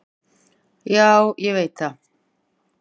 """Já, ég veit það."""